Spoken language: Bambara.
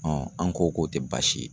an ko k'o tɛ baasi ye.